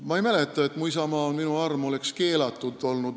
Ma ei mäleta, et "Mu isamaa on minu arm" oleks keelatud olnud.